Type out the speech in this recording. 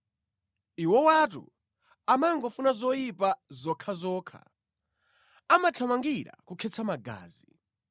Iwowatu amangofuna zoyipa zokhazokha, amathamangira kukhetsa magazi.